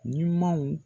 Ɲumanw